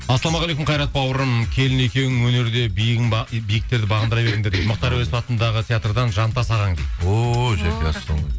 ассалаумағалейкум қайрат бауырым келін екеуің өнерде биіктерді бағындыра беріңдер дейді мұхтар әуезов атындағы театрдан жантас ағаң дейді ооо жәке ассалаумағалейкум